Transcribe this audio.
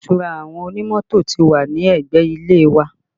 Ilé ìtura àwọn onímọ́tò ti wà ní ẹgbẹ́ ilé wa